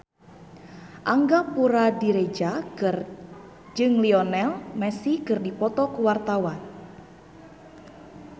Angga Puradiredja jeung Lionel Messi keur dipoto ku wartawan